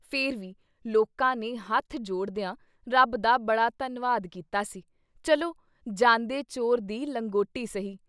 ਫਿਰ ਵੀ ਲੋਕਾਂ ਨੇ ਹੱਥ ਜੋੜਦਿਆਂ ਰੱਬ ਦਾ ਬੜਾ ਧੰਨਵਾਦ ਕੀਤਾ ਸੀ- ਚਲੋ ਜਾਂਦੇ ਚੋਰ ਦੀ ਲੰਗੋਟੀ ਸਹੀ।